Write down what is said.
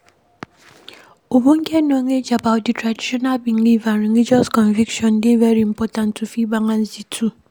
Ogbonge Knowledge about di traditional belief and religious conviction dey very important to fit balance di two